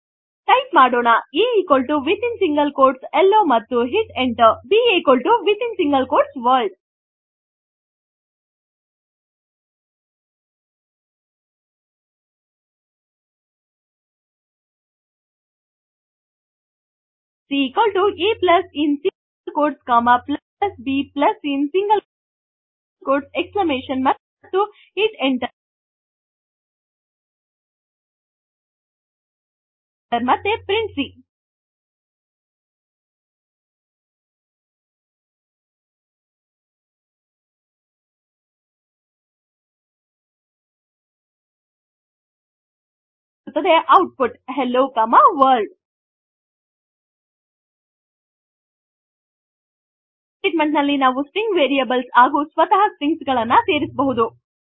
type ಮಾಡೋಣ a within single quotes hello ಮತ್ತು hit enter b within single quotes world c a plus in single quotes comma plus b plus in single quotes exclamation ಮತ್ತು hit enter ಮತ್ತೆ print c ನಿಮಗೆ ಸಿಗುತ್ತದೆ output hello comma world ಒಂದೇ statement ನಲ್ಲಿ ನಾವು string variables ಹಾಗು ಸ್ವತಃ strings ಗಳನ್ನೇ ಸೇರಿಸಬಹುದು